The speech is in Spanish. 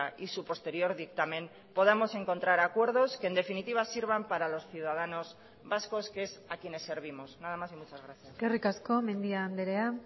y su posterior dictamen podamos encontrar acuerdos que en definitiva sirvan para los ciudadanos vascos que es a quienes servimos nada más y muchas gracias eskerrik asko mendia andrea